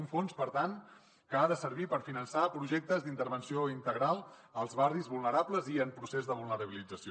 un fons per tant que ha de servir per finançar projectes d’intervenció integral als barris vulnerables i en procés de vulnerabilització